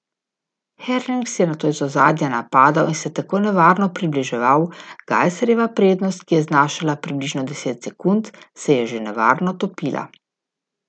Herlings je nato iz ozadja napadal in se tudi nevarno približeval, Gajserjeva prednost, ki je znašala približno deset sekund, se je že nevarno topila.